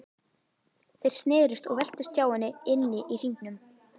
Þeir snerust og veltust hjá henni inni í hringnum.